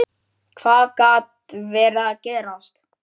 Hvað gat verið að gerast?